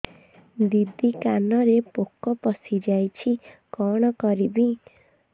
ଦିଦି କାନରେ ପୋକ ପଶିଯାଇଛି କଣ କରିଵି